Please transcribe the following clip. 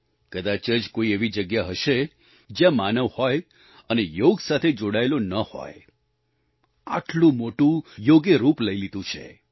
કદાચ જ કોઈ એવી જગ્યા હશે જ્યાં માનવ હોય અને યોગ સાથે જોડાયેલો ન હોય આટલું મોટું યોગે રૂપ લઈ લીધું છે